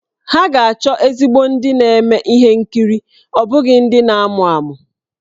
Ha ga-achọ ezigbo ndị na-eme ihe nkiri ọ bụghị ndị na-amụ amụ.